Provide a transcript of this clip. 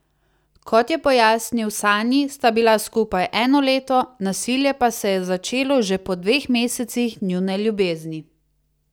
Kot je pojasnil Sanji, sta bila skupaj eno leto, nasilje pa se je začelo že po dveh mesecih njune ljubezni.